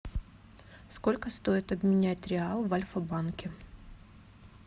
сколько стоит обменять реал в альфа банке